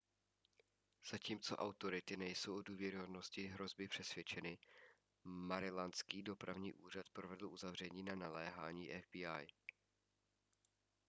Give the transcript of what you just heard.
zatímco autority nejsou o důvěryhodnosti hrozby přesvědčeny marylandský dopravní úřad provedl uzavření na naléhání fbi